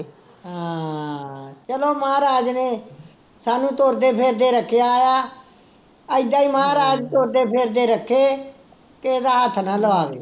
ਹਾਂ ਚਲੋ ਮਹਾਰਾਜ ਨੇ ਸਾਨੂੰ ਤੁਰਦੇ ਫਿਰਦੇ ਰੱਖਿਆ ਆ, ਇੱਦਾਂ ਹੀ ਮਹਾਰਾਜ ਤੁਰਦੇ ਫਿਰਦੇ ਰੱਖੇ, ਕਿਸੇ ਦਾ ਹੱਥ ਨਾ ਲਵਾਵੇ